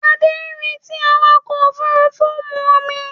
Adé rí tí awakọ̀ òfurufú mu omi